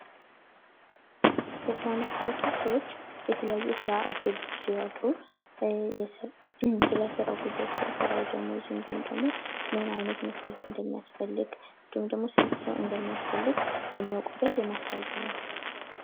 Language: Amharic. የማስታወቂያ ህጎችና ደንቦች ሐቀኛና ትክክለኛ መረጃን ማስተላለፍን የሚያረጋግጡ ሲሆን አሳሳች ማስታወቂያዎችን ይከለክላሉ